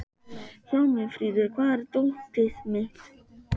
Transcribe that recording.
Hjálmfríður, hvar er dótið mitt?